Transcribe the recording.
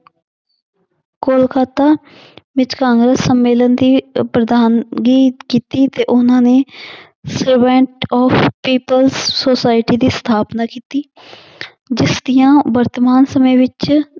ਕੋਲਕਤਾ ਵਿੱਚ ਕਾਂਗਰਸ ਸੰਮੇਲਨ ਦੀ ਅਹ ਪ੍ਰਧਾਨਗੀ ਕੀਤੀ ਤੇ ਉਹਨਾਂ ਨੇ of people society ਦੀ ਸਥਾਪਨਾ ਕੀਤੀ ਜਿਸ ਦੀਆਂ ਵਰਤਮਾਨ ਸਮੇਂ ਵਿੱਚ